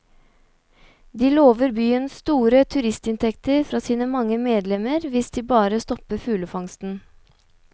De lover byen store turistinntekter fra sine mange medlemmer hvis de bare stopper fuglefangsten.